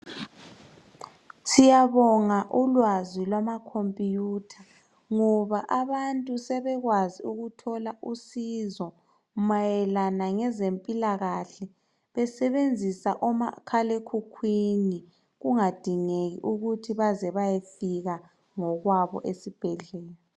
Siyabonga ulwazi lwama computer ngoba abantu sebekwazi ukuthola usizo mayelana ngezempilakahle besebenzisa omakhalekhukhwini kungadingeki ukuthi baze bayefika ngokwabo esibhedlela.